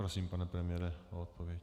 Prosím, pane premiére, o odpověď.